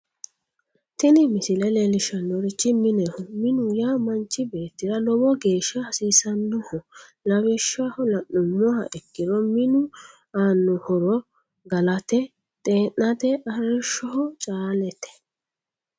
tini misile leellishshannorichi mineho minu yaa manchi beettira lowo geeshsha hasiisannoho lawishshaho la'nummoha ikkiro minu aanno horo galate, tee'nate arrishsho caa'late.